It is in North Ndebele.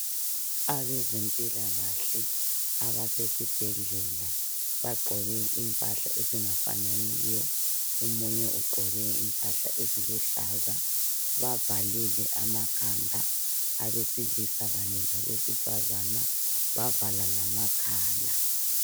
Abezempilakahle abasesibhedlela bagqoke impahla ezingafananiyo. Omunye ugqoke impahla eziluhlaza. Bavalile amakhanda , abesilisa kanye labesifazana bavala lamakhala.